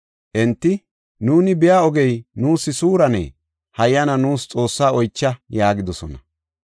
Enti, “Nuuni biya ogey nuus suurane, suurenne hayyana nuus Xoosse oycha” yaagidosona.